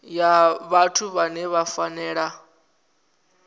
ya vhathu vhane vha fanela